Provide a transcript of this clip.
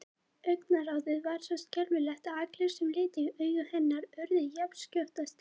Augnaráðið var svo skelfilegt að allir sem litu í augu hennar urðu jafnskjótt að steini.